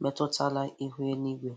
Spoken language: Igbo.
metụtara ihu eluigwe.